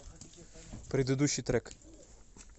предыдущий трек